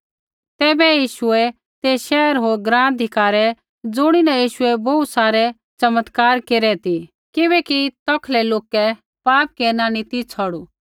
तैबै यीशुऐ ते शैहर होर ग्राँ धिक्कारै ज़ुणीन यीशुऐ बोहू सारै चमत्कार केरै ती किबैकि तौखलै लोकै पाप केरना नी ती छ़ौड़ू